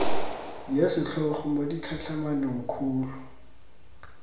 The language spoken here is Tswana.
ya setlhogo mo ditlhatlhamanong kgolo